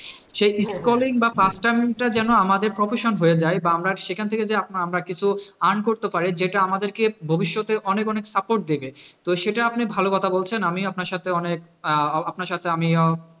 সে scrolling বা টা যেনো আমাদের profession হয়ে যাই বা আমরা সেখানথেকে যে মারা কিছু earn করতে পারি যেটা আমাদেরকে ভবিষ্যতে অনেক অনেক support দেবে, তো সেটা আপনি ভালো কথা বলছেন আমি আপনার সাথে অনেক আপনার সাথে আমিও,